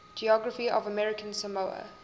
geography of american samoa